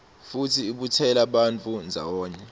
futsi ibutsela bantfu ndzawonye